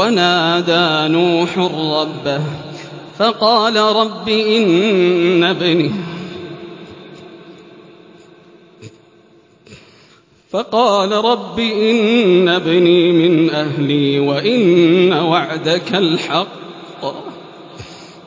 وَنَادَىٰ نُوحٌ رَّبَّهُ فَقَالَ رَبِّ إِنَّ ابْنِي مِنْ أَهْلِي وَإِنَّ وَعْدَكَ الْحَقُّ